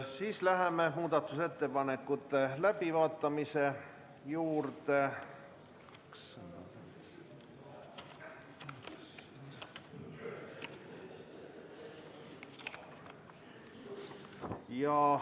Siis läheme muudatusettepanekute läbivaatamise juurde.